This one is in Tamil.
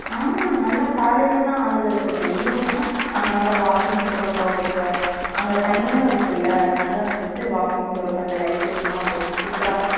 ஆமா நல்லா காலைலலாம் ஆளுக இருக்கறதுல evening னா அங்க நல்லா walking போறதுக்கு ஆகட்டும் அங்க தண்ணியும் இருக்குல அதுனால வந்துட்டு walking போறதுக்கு light setting லாம் போட்டு super